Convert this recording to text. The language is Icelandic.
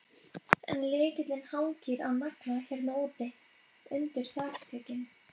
En lykillinn hangir á nagla hérna úti, undir þakskegginu.